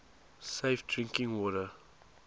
safe drinking water